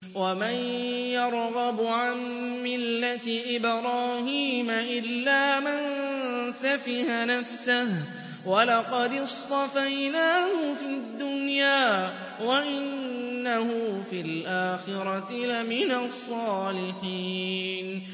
وَمَن يَرْغَبُ عَن مِّلَّةِ إِبْرَاهِيمَ إِلَّا مَن سَفِهَ نَفْسَهُ ۚ وَلَقَدِ اصْطَفَيْنَاهُ فِي الدُّنْيَا ۖ وَإِنَّهُ فِي الْآخِرَةِ لَمِنَ الصَّالِحِينَ